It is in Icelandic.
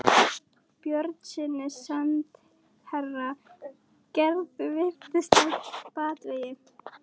Björnssyni sendiherra: Gerður virðist á batavegi.